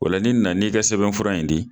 O la n'i nana n'i ka sɛbɛnfuran in di